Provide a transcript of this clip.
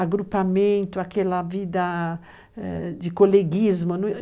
agrupamento, aquela vida eh de coleguismo.